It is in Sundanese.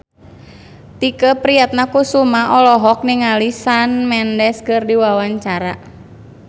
Tike Priatnakusuma olohok ningali Shawn Mendes keur diwawancara